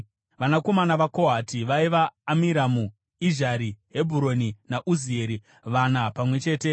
Vanakomana vaKohati vaiva: Amiramu, Izhari, Hebhuroni naUzieri, vana pamwe chete.